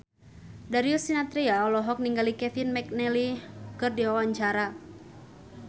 Darius Sinathrya olohok ningali Kevin McNally keur diwawancara